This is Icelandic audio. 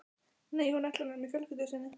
Nei, hún ætlar að vera með fjölskyldu sinni.